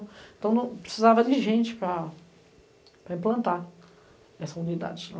Então não, precisava de gente para para implantar essa unidade lá.